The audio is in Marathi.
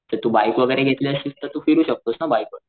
तर तू बाइक वैगेरे घेतली असशील तर तू फिरू शकतोस ना बाइक वर.